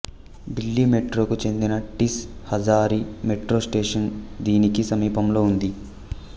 ఢిల్లీ మెట్రోకు చెందిన Tis Hazari metro station దీనికి సమీపంలో ఉంది